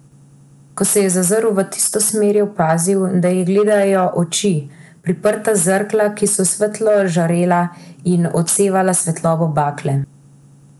Ko se je zazrl v tisto smer, je opazil, da jih gledajo oči, priprta zrkla, ki so svetlo žarela in odsevala svetlobo bakle.